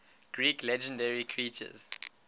greek legendary creatures